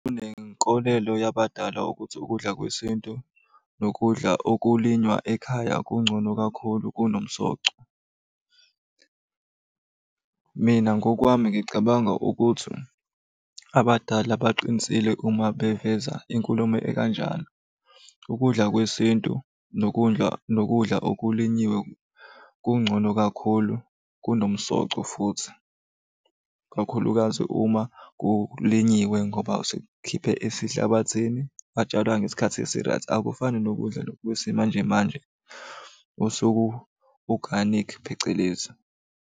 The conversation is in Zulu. Kunenkolelo yabadala ukuthi ukudla kwesintu nokudla okulinywa ekhaya kungcono kakhulu kunomsoco. Mina ngokwami ngicabanga ukuthi abadala baqinisile uma beveza inkulumo ekanjalo. Ukudla kwesintu nokudla nokudla okulinyiwe kungcono kakhulu kunomsoco futhi. Kakhulukazi uma kulinyiwe ngoba sekukhiphe esihlabathini kwatshalwa ngesikhathi esi-right. Akufani nokudla lokhu kwesimanjemanje oseku-organic phecelezi.